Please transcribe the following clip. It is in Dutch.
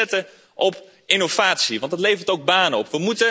We moeten inzetten op innovatie, want dat levert ook banen op.